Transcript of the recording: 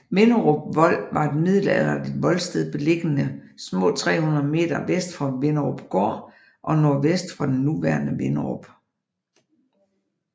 Vinderup Vold var et middelalderligt voldsted beliggende små 300 m vest for Vinderupgård og nordvest for det nuværende Vinderup